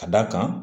Ka d'a kan